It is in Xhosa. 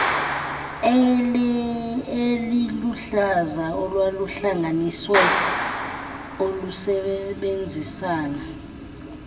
eliluhlaza olwaluhlanganisiwe olusebenzisana